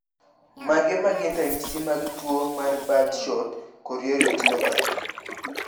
Mage magin ranyisi mag tuo mar Birdshot chorioretinopathy?